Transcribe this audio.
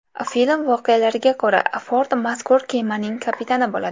Film voqealariga ko‘ra, Ford mazkur kemaning kapitani bo‘ladi.